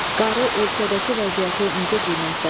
Qarı ölkədəki vəziyyəti necə qiymətləndirir?